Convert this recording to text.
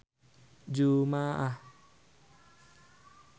Dara aya dina koran poe Jumaah